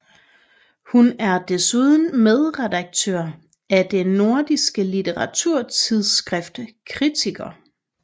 Hun er desuden medredaktør af det nordiske litteraturtidsskrift KRITIKER